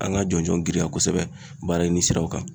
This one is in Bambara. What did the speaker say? An ka jɔnjɔn girinya kosɛbɛ baara ɲini siraw kan